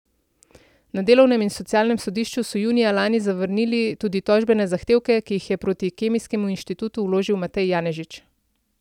Na delovnem in socialnem sodišču so junija lani zavrnili tudi tožbene zahtevke, ki jih je proti Kemijskemu inštitutu vložil Matej Janežič.